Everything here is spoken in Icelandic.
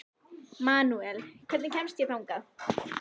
Manuel, hvernig kemst ég þangað?